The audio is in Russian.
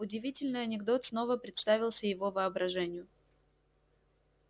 удивительный анекдот снова представился его воображению